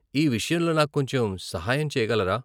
ఈ విషయంలో నాకు కొంచెం సహాయం చేయగలరా?